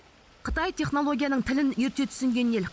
қытай технологияның тілін ерте түсінген ел